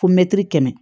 Fo kɛmɛ